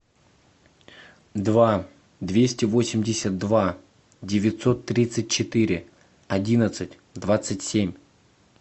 два двести восемьдесят два девятьсот тридцать четыре одиннадцать двадцать семь